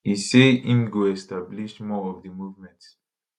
e say im go establish more of di movement